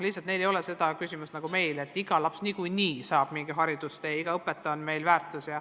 Lihtsalt neil ei ole seda olukorda nagu meil, et iga laps niikuinii saab mingi hariduse, et iga õpetaja on meil väärtus.